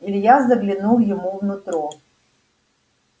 илья заглянул ему в нутро